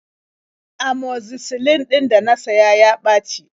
Amoxicillin ɗin da na siya ya ɓaci.